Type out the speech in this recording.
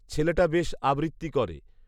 ছেলটা বেশ আবৄত্তি করে